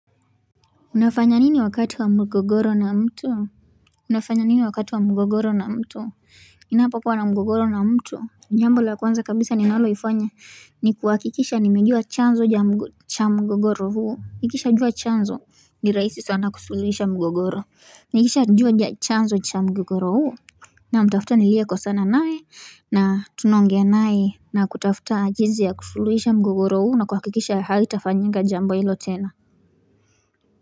Unafanya nini wakati wa mgogoro na mtu unafanya nini wakati wa mgogoro na mtu ninapokuwa na mgogoro na mtu jambo la kwanza kabisa ninaloifanya ni kuhakikisha nimejua chanzo cha mgogoro huo nikisha jua chanzo ni rahisi sana kusuluhisha mgogoro nikishajua chanzo cha mgogoro huo namtafuta nilie kosana naye na tunaongea nae na kutafuta jinsi ya kusuluhisha mgogoro huu na kuhakikisha haitafanyika jambo hilo tena.